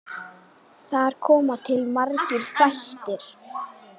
Þar koma til margir þættir.